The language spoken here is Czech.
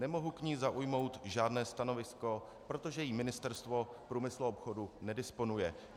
Nemohu k ní zaujmout žádné stanovisko, protože jí Ministerstvo průmyslu a obchodu nedisponuje.